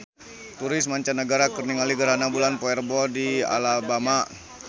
Turis mancanagara keur ningali gerhana bulan poe Rebo di Alabama